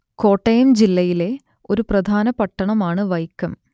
കോട്ടയം ജില്ലയിലെ ഒരു പ്രധാന പട്ടണം ആണ് വൈക്കം